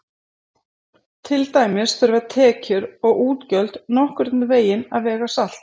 Til dæmis þurfa tekjur og útgjöld nokkurn veginn að vega salt.